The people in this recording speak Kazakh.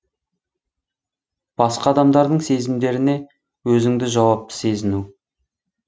басқа адамдардың сезімдеріне өзіңді жауапты сезіну